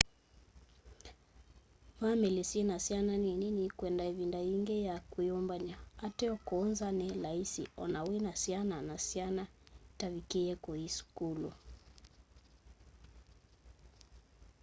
vamili syina syana nini nikwenda ivinda yingi ya kwiyumbany'a ateo kuu nza ni laisi o na wina syana na syana itavikííe kuthi sukulu